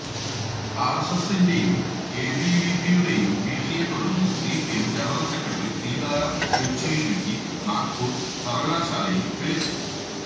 ആര്എസ്എസിന്റെയും എബിവിപിയുടെയും ഭീഷണിയെത്തുടര്ന്ന് CPM general secretary Sitaram യെച്ചൂരിക്ക് നാഗ്പൂര് സര്വകലാശാലയില് വിലക്ക്